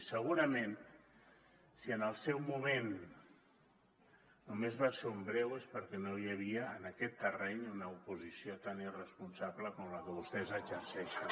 i segurament si en el seu moment només va ser un breu és perquè no hi havia en aquest terreny una oposició tan irresponsable com la que vostès exerceixen